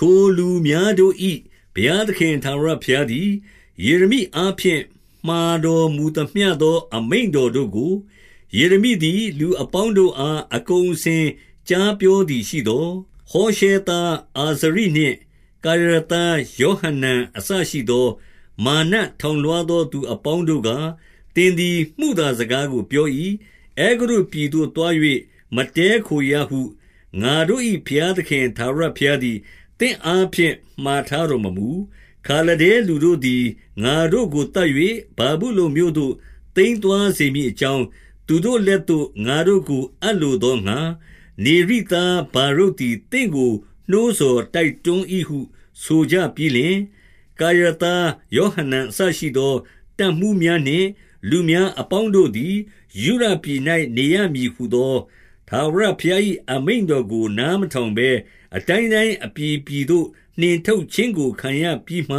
ထိုလူများတို့၏ ဘုရားသခင်ထာဝရဘုရားသည် ယေရမိအားဖြင့် မှာတော်မူသမျှသော အမိန့်တော်တို့ကို၊ ယေရမိသည် လူအပေါင်းတို့ အားအကုန်အစင်ကြားပြော သည်ရှိသော်၊ ဟောရှဲသားအာဇရိနှင့် ကာရာသား ယေဟ နန်အစရှိသော၊ မာနထောင်လွှားသော သူအပေါင်းတို့က၊ သင်သည် မုသာစကားကိုပြော၏။ အဲဂုတ္တုပြည်သို့သွား၍ မတည်းခိုရဟု ငါတို့၏ ဘုရားသခင် ထာဝရဘုရားသည် သင့်အားဖြင့် မှာထားတော်မမူ။ ခါလဒဲလူတို့သည် ငါတို့ကိုသတ်၍ ဗာဗုလုန် မြို့သို့ သိမ်းသွားစေမည်အကြောင်း၊ သူတို့လက်သို့ ငါတို့ကိုအပ်လိုသောငှါ၊ နေရိသားဗာရုတ် သည်သင့်ကို နှိုးဆော်တိုက်တွန်း၏ဟု ဆိုကြပြီးလျှင်၊ ကာရာသားယောဟနန်အစရှိသော တပ်မှူး များနှင့် လူများအပေါင်းတို့သည်၊ ယုဒပြည်၌နေရမည် ဟူသော ထာဝရဘုရား၏ အမိန့်တော်ကို နားမထောင်ဘဲ၊ အတိုင်းတိုင်းအပြည်ပြည်သို့ နှင်ထုတ်ခြင်းကို ခံရပြီးမှ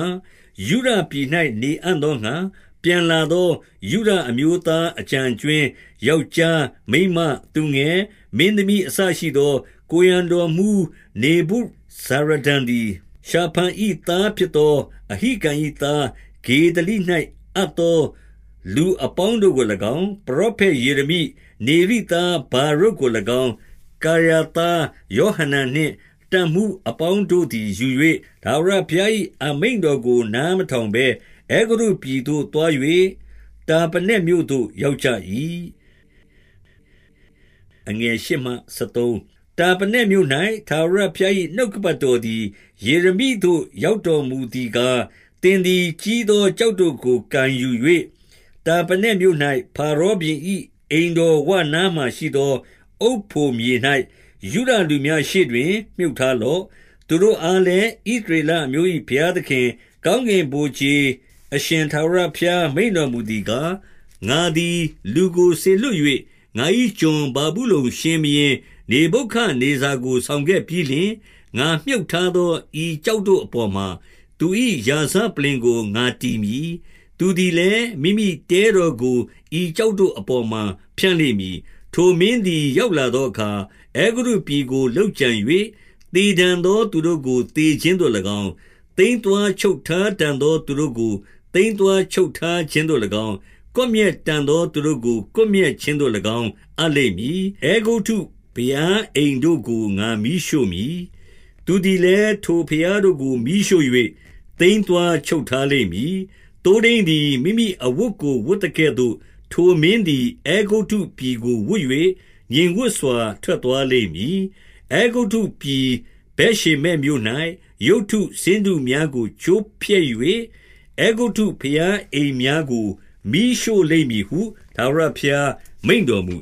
ယုဒပြည်၌ နေအံ့သောငှါ၊ ပြန်လာသော ယုဒအမျိုးသားအကျန်အကြွင်း၊ ယောက်ျား၊ မိန်းမ၊ သူငယ်၊ မင်းသမီးအစရှိသော ကိုယ်ရံ တော်မှူးနေဗုဇာရဒန်သည် ရှာဖန်၏သားဖြစ်သော အဟိကံ၏သားဂေဒလိ၌အပ်သော လူအပေါင်းတို့ကို၎င်း၊ ပရောဖက်ယေရမိ၊ နေရိသားဗာရုတ်ကို၎င်း၊ ကာရာ သားယောဟနန်နှင့် တပ်မှူးအပေါင်းတို့သည်ယူ၍၊ ထာဝရဘုရား၏အမိန့်တော်ကို နားမထောင်ဘဲ၊ အဲဂုတ္တုပြည်သို့ သွား၍တာပနက်မြို့သို့ ရောက်ကြ၏။ တာပနက်မြို့၌ ထာဝရဘုရား၏ နှုတ်ကပတ် တော်သည် ယေရမိသို့ ရောက်တော်မူသည်ကား၊ သင်သည်ကြီးသော ကျောက်တို့ကို ကိုင်ယူ၍၊ တာပနက်မြို့၌ ဖာရောဘုရင်၏အိမ်တော်ဝနားမှာ ရှိသောအုတ်ဖိုမြေ၌၊ ယုဒလူများရှေ့တွင် မြှုပ်ထားလော့။ သူတို့အားလည်း၊ ဣသရေလအမျိုး၏ ဘုရား သခင်၊ ကောင်းကင်ဗိုလ်ခြေအရှင်ထာဝရဘုရား မိန့်တော် မူသည်ကား၊ ငါသည်လူကိုစေလွှတ်၍၊ ငါ၏ကွန်ဗာဗုလုန် ရှင်ဘုရင်နေဗုခဒ်နေဇာကိုဆောင်ခဲ့ပြီးလျှင်၊ ငါမြှုပ် ထားသောဤကျောက်တို့အပေါ်မှာ၊ သူ၏ရာဇပလ္လင်ကို ငါတည်မည်။ သူသည်လည်း၊ မိမိထဲတော်ကို ဤကျောက် တို့အပေါ်မှာ ဖြန့်လိမ့်မည်။ ထိုမင်းသည် ရောက်လာသောအခါ၊ အဲဂုတ္တု ပြည်ကိုလုပ်ကြံ၍၊ သေတန်သော သူတို့ကို သေခြင်းသို့၎င်း၊ သိမ်းသွားချုပ်ထားတန်သော သူတို့ကို သိမ်းသွားချုပ်ထား ခြင်းသို့၎င်း အပ်လိမ့်မည်။ အဲဂုတ္တုဘုရားအိမ်တို့ကို ငါမီးရှို့မည်။ သူသည် လည်း၊ ထိုဘုရားတို့ကိုမီးရှို့၍ သိမ်းသွားချုပ်ထားလိမ့် မည်။ သိုးထိန်းသည် မိမိအဝတ်ကို ဝတ်သကဲ့သို့၊ ထိုမင်း သည် အဲဂုတ္တုပြည်ကိုဝတ်၍ ငြိမ်ဝပ်စွာ ထွက်သွား လိမ့်မည်။ အဲဂုတ္တုပြည်ဗက်ရှေမက်မြို့၌၊ ရုပ်တုဆင်းတု များကို ချိုးဖျက်၍၊ အဲဂုတ္တုဘုရားအိမ်များကို မီးရှို့လိမ့်မည်ဟု ထာဝရဘုရားမိန့်တော်မူ